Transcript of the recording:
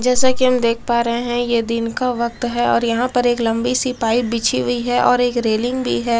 जैसा कि हम देख पा रहे हैं ये दिन का वक्त है और यहां पर एक लंबी सी पाइप बिछी हुई है और एक रेलिंग भी है।